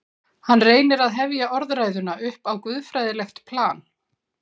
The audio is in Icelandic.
Hann reynir að hefja orðræðuna upp á guðfræðilegt plan.